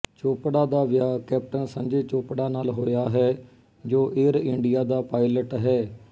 ਚੋਪੜਾ ਦਾ ਵਿਆਹ ਕੈਪਟਨ ਸੰਜੇ ਚੋਪੜਾ ਨਾਲ ਹੋਇਆ ਹੈ ਜੋ ਏਅਰ ਇੰਡੀਆ ਦਾ ਪਾਇਲਟ ਹੈ